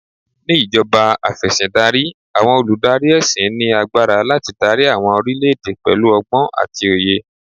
Ni ìjọba Afẹ̀sìndarí, àwọn olùdarí ẹṣin ní agbára láti dári àwọn orílè èdè pẹ̀lú ọgbọ́n àti òye.